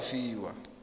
o ka nne wa fiwa